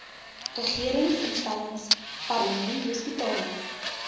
regeringsinstellings parlement hospitale